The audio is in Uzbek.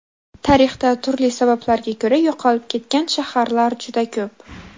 Tarixda turli sabablarga ko‘ra yo‘qolib ketgan shaharlar juda ko‘p.